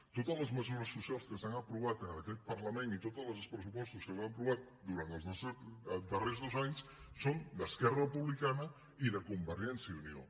totes les mesures socials que s’han aprovat en aquest parlament i tots els pressupostos que s’han aprovat durant els darrers dos anys són d’esquerra republicana i de convergència i unió